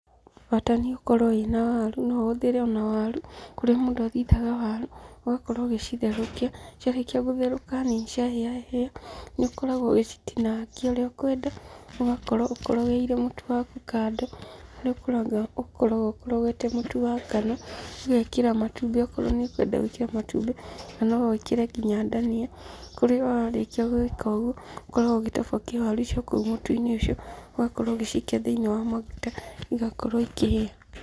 Bata nĩ ũkorwo wĩna waru, no ũhũthĩre ona waru kũrĩa mũndũ athithaga waru. Ũgakorwo ũgĩcitherũkia, ciarĩkia gũtherũka na ciahĩahĩa nĩũkoragwo ũgĩcitinangia ũrĩa ũkwenda, ũgakorwo ũkorogeire mũtũ waku kando. Nĩũkoragwo ũkorogete mũtu wa ngano, ũgekĩra matumbĩ okorwo nĩũrenda gũĩkĩra matumbĩ na no wĩkĩre nginya ndania. Kūrĩa warĩkia gūĩka ūguo ūkoragwo ūgĩtobokia waru icio kūu mūtu-inĩ ūcio ūgakorwo ūgĩcikia thiinĩ wa maguta igakorwo ĩkĩhĩa.